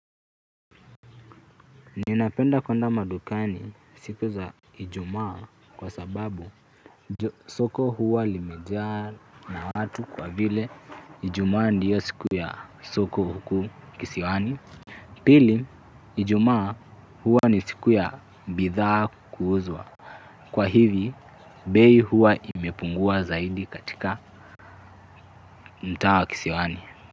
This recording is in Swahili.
Ninapenda kuenda madukani siku za Ijumaa kwasababu soko huwa limejaa na watu kwa vile Ijumaa ndiyo siku ya soko huku kisiwani. Pili, Ijumaa huwa ni siku ya bidhaa kuuzwa. Kwa hivi, bei huwa imepungua zaidi katika mtaa wa kisiwani.